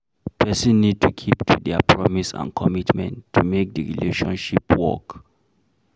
Person need to keep to their promise and commitment to make di relationship work